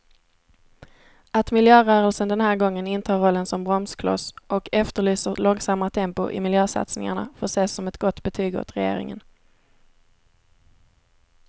Att miljörörelsen den här gången intar rollen som bromskloss och efterlyser långsammare tempo i miljösatsningarna får ses som ett gott betyg åt regeringen.